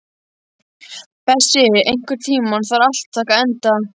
Bessi, einhvern tímann þarf allt að taka enda.